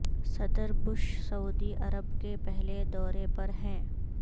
صدر بش سعودی عرب کے پہلے دورے پر ہیں